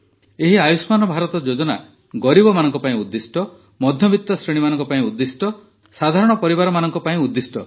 ଏହି ଆୟୁଷ୍ମାନ ଭାରତ ଯୋଜନା ଗରିବମାନଙ୍କ ପାଇଁ ଉଦ୍ଦିଷ୍ଟ ମଧ୍ୟବିତ ଶ୍ରେଣୀମାନଙ୍କ ପାଇଁ ଉଦ୍ଦିଷ୍ଟ ସାଧାରଣ ପରିବାରମାନଙ୍କ ପାଇଁ ଉଦ୍ଦିଷ୍ଟ